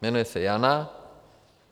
Jmenuje se Jana.